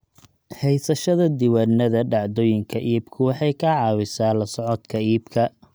Haysashada diiwaannada dhacdooyinka iibku waxay ka caawisaa la socodka iibka.